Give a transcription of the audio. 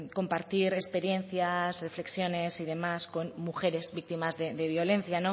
compartir experiencias reflexiones y demás con mujeres víctimas de violencia